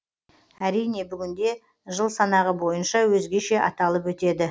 әрине бүгінде жыл санағы бойынша өзгеше аталып өтеді